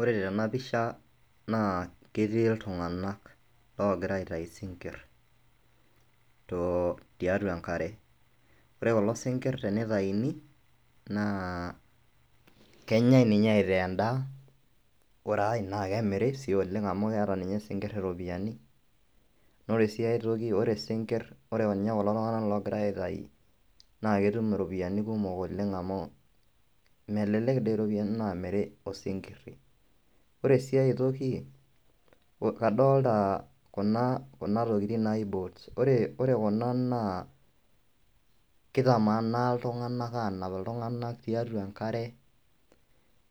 Ore tena pisha naa ketii iltung'anak loogira aitai isinkirr tiatwa enkare. Ore kulo sinkirr tenitaini naa kenyae ninye aitaa endaa, ore ae naa kemiri sii oleng amu keeta isinkirr iropiyiani. Naa ore sii ae toki ore sinkirr, ore ninye kulo tung'anak oogira aitai naa ketum iropiyiani kumok oleng amu melelek doi iropiyiani naamiri isinkirr. Ore si ae toki, kadolita kuna tokiting naaji boats. Ore kuna naa kitamaana iltung'anak aanap iltung'anak tiatwa enkare,